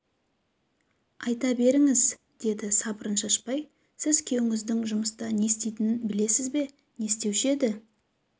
айта беріңңз деді сабырын шашпай сіз күйеуіңіздің жұмыста не істейтінін білесіз бе не істеуші еді